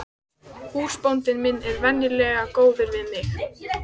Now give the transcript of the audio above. Húsbóndi minn er venjulega góður við mig.